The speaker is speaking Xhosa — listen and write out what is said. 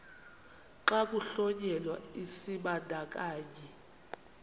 xa kuhlonyelwa isibandakanyi